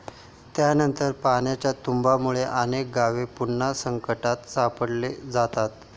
त्यानंतर पाण्याच्या तुम्बामुळे अनेक गावे पुन्हा संकटात सापडली जातात.